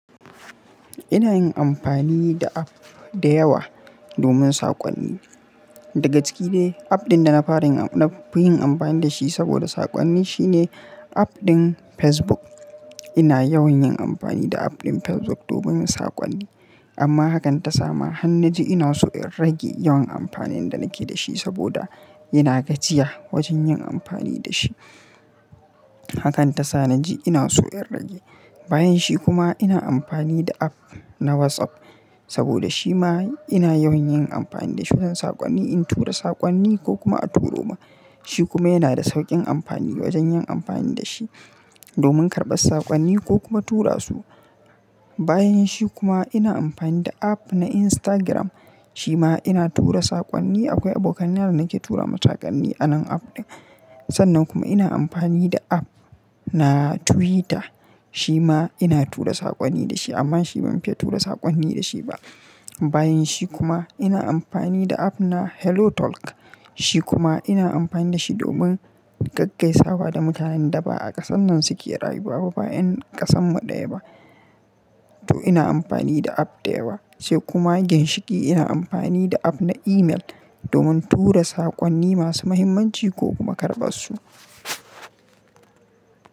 Ina yin amfani da app da yawa domin saƙonni. Daga ciki dai app ɗin da na fi yin amfani da shi saboda saƙonni shine app ɗin Facebook. Ina yawan yin amfani da app ɗin Facebook domin saƙonni, amma hakan ta sama, har na ji ina so in rage yawan amfanin da nake da shi saboda yana gajiya wajen yin amfani da shi. Hakan ta sa naji ina so in rage. Bayan shi kuma ina amfani da app na WhatsApp saboda shi ma ina yawan yin amfani da shi wajen saƙonni, in tura saƙonni ko kuma a turo ma. Shi kuma yana da sauƙin amfani wajen yin amfani da shi domin karɓar saƙonni ko kuma tura su. Bayan shi kuma ina amfani da app na Instagram, shi ma ina tura saƙonni. Akwai abokanai da nake tura ma saƙonn a nan app ɗin. Sannan kuma ina amfani da app na Twitter, shi ma ina tura saƙonni da shi, amma shi ban fiya tura saƙonni da shi ba. Bayan shi kuma ina amfani da app na Hello Talk, shi kuma ina amfani da shi domin gaggaisawa da mutanen da ba a ƙasan nan suke rayuwa ba bayan ƙasanmu ɗaya ba. To ina amfani da app da yawa. Sai kuma ginshiki ina amfani da app na email domin tura saƙonni masu muhimmanci ko kuma karɓar su.